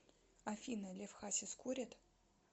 афина лев хасис курит